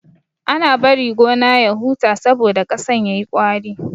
Ana bari gona ya huta saboda ƙasan yayi ƙwari.